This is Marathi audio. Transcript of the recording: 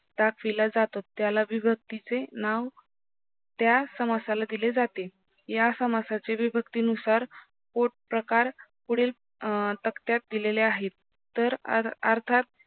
दाखविला जातो त्याला विभक्तीचे नाव त्या समासाला दिले जाते या समासाचे विभक्ती नुसार पोटप्रकार पुढील तकत्यात दिलेले आहे तर अर्थात